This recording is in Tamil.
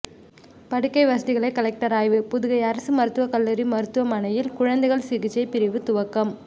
படுக்கை வசதிகளை கலெக்டர் ஆய்வு புதுகை அரசு மருத்துவக்கல்லூரி மருத்துவமனையில் குழந்தைகள் சிகிச்சை பிரிவு துவக்கம்